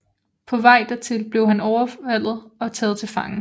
På vej dertil bliver han overfaldet og taget til fange